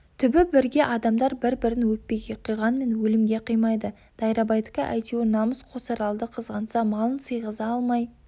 түбі бірге адамдар бір-бірін өкпеге қиғанмен өлімге қимайды дайрабайдікі әйтеуір намыс қосаралды қызғанса малын сыйғыза алмай